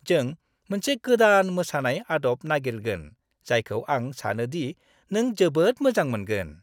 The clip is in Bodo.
जों मोनसे गोदान मोसानाय आदब नागिरगोन, जायखौ आं सानो दि नों जोबोद मोजां मोनगोन।